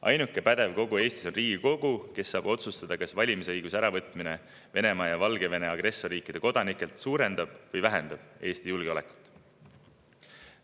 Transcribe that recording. Ainuke pädev kogu Eestis on Riigikogu, kes saab otsustada, kas valimisõiguse äravõtmine agressorriikide Venemaa ja Valgevene kodanikelt suurendab või vähendab Eesti julgeolekut.